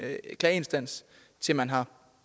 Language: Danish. klageinstans til man har